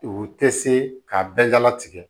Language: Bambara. U tɛ se k'a bɛɛ dala tigɛ